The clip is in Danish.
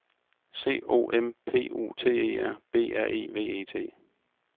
C O M P U T E R B R E V E T